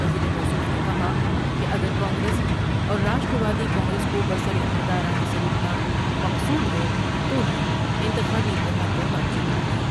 وزیر موصوف نے کہا کہ اگر کانگریس اور راشٹر وادی کانگریس کو برسراقتدار آنے سے روکنا مقصود ہے تو ہی انتخابی اتحاد پر بات چیت ہوگی ۔